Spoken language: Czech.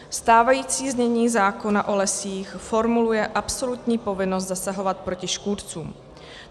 Stávající znění zákona o lesích formuluje absolutní povinnost zasahovat proti škůdcům.